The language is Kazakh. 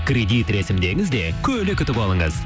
кредит рәсімдеңіз де көлік ұтып алыңыз